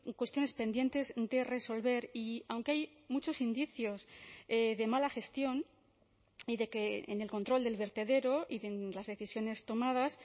cuestiones pendientes de resolver y aunque hay muchos indicios de mala gestión y de que en el control del vertedero y de las decisiones tomadas